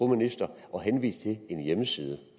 ministeren at henvise til en hjemmeside